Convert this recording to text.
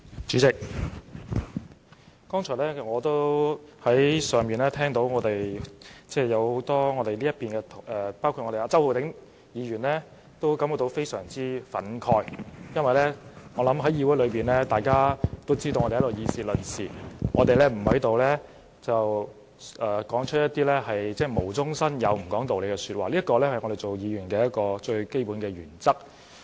主席，我剛才在辦公室聽到很多我方的議員，包括周浩鼎議員感到非常憤慨，我想大家均知道，我們在議會內議事論事，不會無中生有或不講道理，這是作為議員的最基本原則。